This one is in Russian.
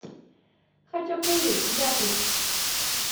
хачапури запись